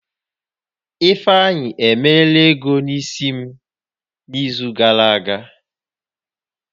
Ifeanyi emeela ego isi m n'izu gàrà aga